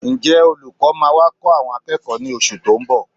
Ǹjẹ́ olùkọ́ máa wá kọ́ àwọn akẹ́kọ̀ọ́ ní oṣù tó ń bọ̀?